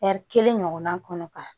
kelen ɲɔgɔnna kɔnɔ ka